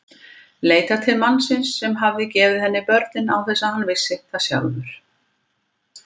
Leitað til mannsins sem hafði gefið henni börnin án þess að hann vissi það sjálfur.